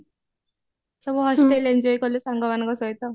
ସବୁ hostel enjoy କଲୁ ସାଙ୍ଗମାନଙ୍କ ସହିତ